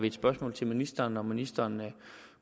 et spørgsmål til ministeren når ministeren